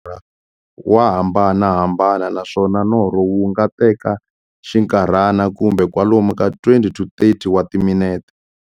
Nkarhi lowu tekiwaka loko munhu a lorha, wa hambanahambana, naswona norho wu nga teka xinkarhana, kumbe kwalomu ka 20-30 wa timinete.